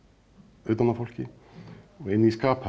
utan á fólki og inn í